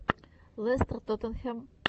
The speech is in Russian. лестер тоттенхэм